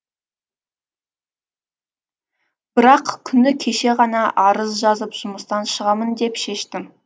бірақ күні кеше ғана арыз жазып жұмыстан шығамын деп шештім